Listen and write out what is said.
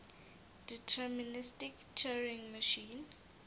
deterministic turing machine